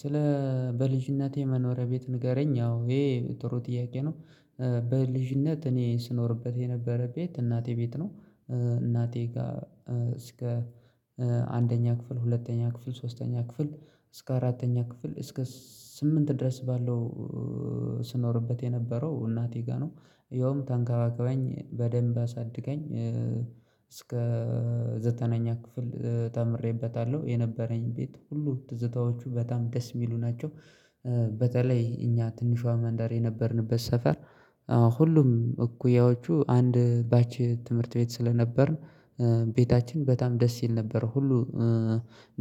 ስለ በልጅነቴ መኖሪያ ቤት ንገረኝ ያው ይሄ ጥሩ ጥያቄ ነው። በልጅነት እኔ ስኖርበት የነበረ ቤት እናቴ ቤት ነው። እናቴ ጋር እስከ አንደኛ ክፍል ሁለተኛ ክፍል ሶስተኛ ክፍል እስከ አራተኛ ክፍል እስከ ስምንት ድረስ ባለው የነበረው እናቴ ጋር ነው ያውም ተንከባከበኝ በደንብ አሳድገኝ። ዘጠነኛ ክፍል ተምሬበታለሁ የነበረኝ ቤት ሁሉ ትዝታዎቹ በጣም ደስ የሚሉ ናቸው። በተለይ እኛ ትንሿ ማንደር የነበርንበት ሰፈር ሁሉም እኩያዎቹ አንድ ባች ትምህርት ቤት ስለነበርን። ቤታችን በጣም ደስ ይል ነበር ሁሉ